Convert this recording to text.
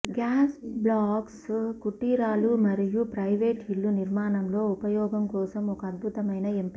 gas blocks కుటీరాలు మరియు private ఇళ్ళు నిర్మాణంలో ఉపయోగం కోసం ఒక అద్భుతమైన ఎంపిక